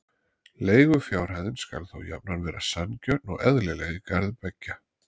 Leigufjárhæðin skal þó jafnan vera sanngjörn og eðlileg í garð beggja.